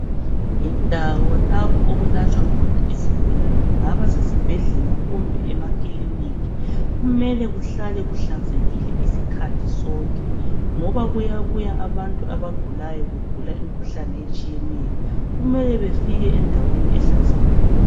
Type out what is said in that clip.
Indawo lapho okulatshwa khona izigulani kungaba kusesibhedlela kumbe emakiliniki, kumele kuhlale kuhlanzekile isikhathi sonke ngoba kuyabuya abantu abagulayo begula imikhuhlane etshiyeneyo, kumele befike endaweni ehlanzekileyo.